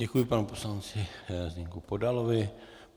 Děkuji panu poslanci Zdeňku Podalovi.